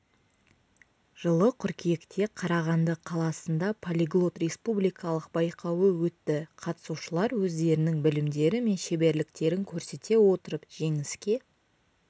жылы қыркүйекте қарағанды қаласында полиглот республикалық байқауы өтті қатысушылар өздерінің білімдері мен шеберліктерін көрсете отырып жеңіске